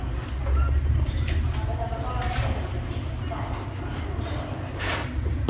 Man behöver bara se sig omkring i stan för att förstå det.